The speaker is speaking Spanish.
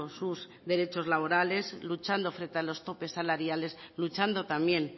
sus derechos laborales luchando frente a los topes salariales luchando también